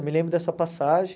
Eu me lembro dessa passagem.